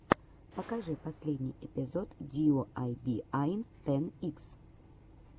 покажи последний эпизод диуайбиай тэн икс